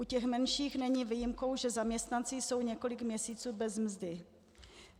U těch menších není výjimkou, že zaměstnanci jsou několik měsíců bez mzdy.